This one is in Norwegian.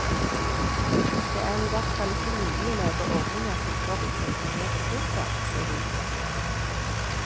Det er i hvert fall ikke mulig å lage ordninger som forutsetter mer ressurser, ser det ut til.